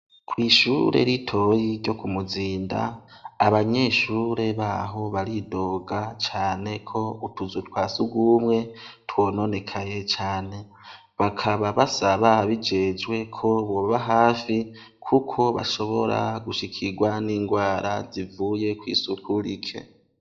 Kwishure ritoyi ryo kumuzinda abanyeshure baho baridoga cane ko utuzu twa sugumwe twononekaye cane bakaba basaba ababijejwe ko boba hafi kuko bashobora gushikigwa n' ingwara zivuye kwisuku rike.